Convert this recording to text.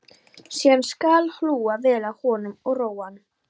Síðan skal hlúa vel að honum og róa hann.